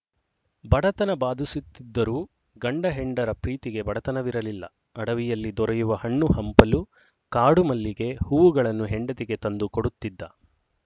ಬಡತನ ಬಾದಿಸುತ್ತಿದ್ದರೂ ಗಂಡಹೆಂಡರ ಪ್ರೀತಿಗೆ ಬಡತನವಿರಲಿಲ್ಲ ಅಡವಿಯಲ್ಲಿ ದೊರೆಯುವ ಹಣ್ಣು ಹಂಪಲು ಕಾಡುಮಲ್ಲಿಗೆ ಹೂವುಗಳನ್ನು ಹೆಂಡತಿಗೆ ತಂದು ಕೊಡುತ್ತಿದ್ದ